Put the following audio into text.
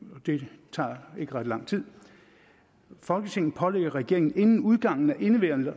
det tager ikke ret lang tid folketinget pålægger regeringen inden udgangen af indeværende